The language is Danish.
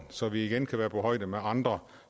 så vi igen kan være på højde med andre